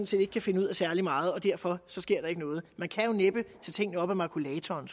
set ikke kan finde ud af særlig meget og derfor sker der ikke noget man kan jo næppe tage tingene op af makulatoren